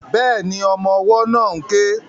Bẹ́ẹ̀ni, ọmọ ọwọ́ náà ń ké